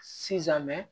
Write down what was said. Sisan mɛ